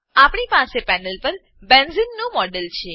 આપણી પાસે પેનલ પર બેન્ઝેને બેન્ઝીન નું મોડેલ છે